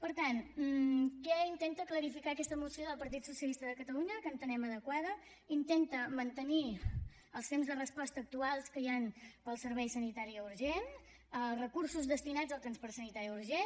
per tant què intenta clarificar aquesta moció del partit socialista de catalunya que entenem adequada intenta mantenir els temps de resposta actuals que hi han per al servei sanitari urgent els recursos destinats al transport sanitari urgent